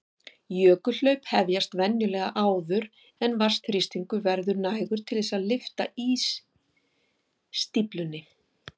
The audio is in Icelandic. Jökulhlaup hefjast venjulega áður en vatnsþrýstingur verður nægur til þess að lyfta ísstíflunni.